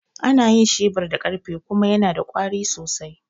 Ana yin shebir da ƙarfe kuma yana da ƙwari sosai.